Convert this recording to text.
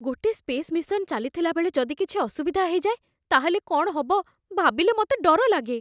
ଗୋଟେ space mission ଚାଲିଥିଲା ବେଳେ ଯଦି କିଛି ଅସୁବିଧା ହେଇଯାଏ, ତା'ହେଲେ କ'ଣ ହବ ଭାବିଲେ ମତେ ଡର ଲାଗେ ।